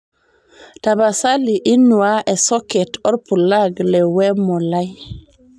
tapasali inuaa esoket orpulag le wemo lai